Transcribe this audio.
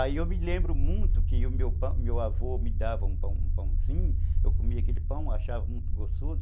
Aí eu me lembro muito que o meu meu avô me dava um pãozinho, eu comia aquele pão, achava muito gostoso.